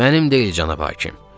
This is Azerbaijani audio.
Mənim deyil, cənab hakim.